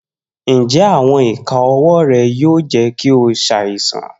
Njẹ awọn ika ọwọ rẹ yoo jẹ ki o ṣaisan.